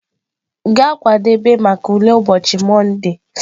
Gaa kwadebe maka ule ụbochị Monde!.